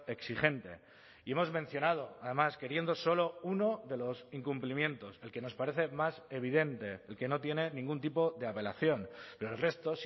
exigente y hemos mencionado además queriendo solo uno de los incumplimientos el que nos parece más evidente el que no tiene ningún tipo de apelación pero el resto